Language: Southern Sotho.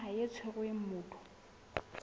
ya naha e tshwereng motho